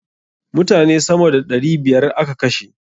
Mutane sama da ɗari biyar a ka kashe.